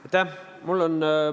Aitäh!